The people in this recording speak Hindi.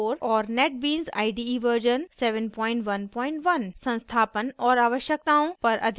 संस्थापन और आवश्यकताओं पर अधिक जानकारी के लिए कृपया पिछले tutorial को देखें